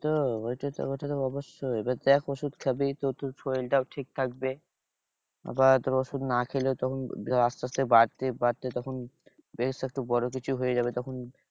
তো ওইটা তো অবশ্যই এবার দেখ ওষুধ খাবি তো তোর শরীর টাও ঠিক থাকবে। আবার তোর ওষুধ না খেলে, তখন আসতে আসতে বাড়তে বাড়তে তখন বেশ একটা বড় কিছু হয়ে যাবে। তখন